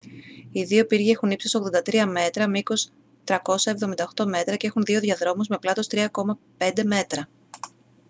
οι δύο πύργοι έχουν ύψος 83 μέτρα μήκος 378 μέτρα και έχουν δύο διαδρόμους με πλάτος 3.50 μέτρα